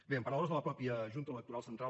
bé en paraules de la mateixa junta electoral central